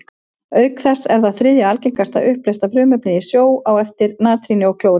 Auk þess er það þriðja algengasta uppleysta frumefnið í sjó, á eftir natríni og klóri.